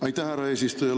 Aitäh, härra eesistuja!